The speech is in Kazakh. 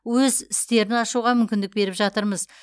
өз істерін ашуға мүмкіндік беріп жатырмыз